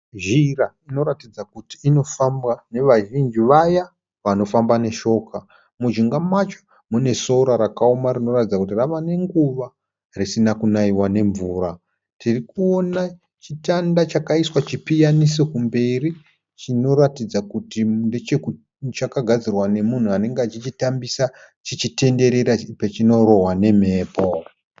Zhira inoratidza kuti inofambwa nevazhinji vaya vanofamba neshoka munjinga macho munesora rakaoma rinoratidza kuti ravanenguva risina kunaiwa nemvura. Tirikuona chitanda chakaiswa chipiyaniso kumberi chinoratidza kuti chakagadzirwa nemunhu uya anenge achichitambisa chichitenderera pachinororwa nemhepo.